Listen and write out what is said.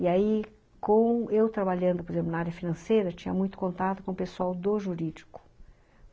E aí, com eu trabalhando, por exemplo, na área financeira, tinha muito contato com o pessoal do jurídico.